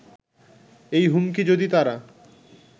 এই হুমকি যদি তারা